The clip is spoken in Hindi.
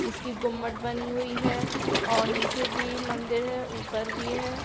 इसकी घुम्मट बनी हुई है और नीचे भी मंदिर है ऊपर भी हैं।